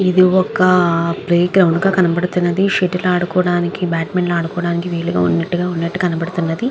ఇది ఒక playground లా కనపడుతున్నది షటిల్ ఆడుకోవడానికి బ్యాట్మింటన్ ఆడుకోవడానికి వీలుగా వున్నట్టుగా ఉన్నట్టు కనపడుతుంది.